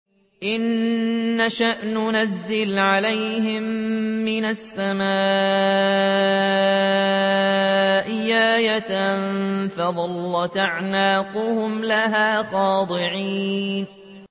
إِن نَّشَأْ نُنَزِّلْ عَلَيْهِم مِّنَ السَّمَاءِ آيَةً فَظَلَّتْ أَعْنَاقُهُمْ لَهَا خَاضِعِينَ